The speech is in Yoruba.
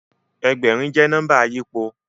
Ẹgbẹ̀rin jẹ́ nọ́mbà àyípo